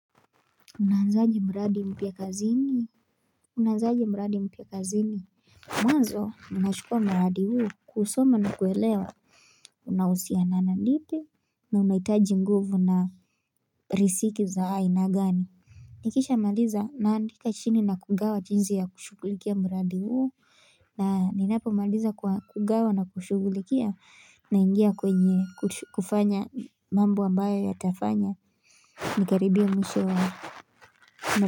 Unaanzaje mradi mpya kazini Mwanzo unashukua mradi huu kusoma na kuelewa unahusiana ndipi na unahitaji nguvu na risiki za aina gani Nikisha maliza naandika chini na kugawa jinzi ya kushugulikia mradi huo na ninapomaliza kugawa na kushugulikia naingia kwenye kufanya mambo ambayo yatafanya Nikaribie mwisho wa mradi.